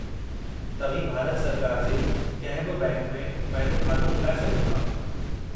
तव्हीं भारत सरकार जे कंहिं बि बैंक में पंहिंजो खातो खुलाए सघो था।